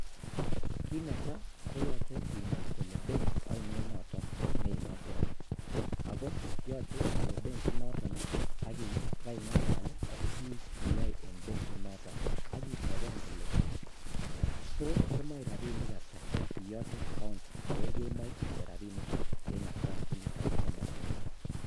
Kiit netaa koyoche inai koee benki ainon noton neimoche ak ko yoche iwee benkinoton ak ibaing'alal ak biik cheyoe en benkinoton ak iteben kole toos komoe rabinik ataa iyote account ak ko kemoe inde rabinik ataa en account initon ne neng'unget.